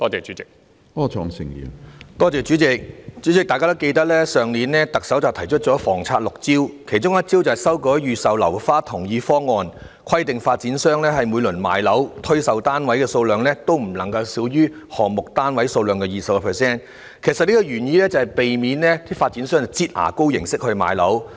主席，大家應該還記得去年特首提出房策六招，其中一招是修改預售樓花同意方案，規定發展商每次賣樓時，所推售單位數量不能少於項目單位數量的 20%， 原意是要避免發展商以"擠牙膏"的方式賣樓。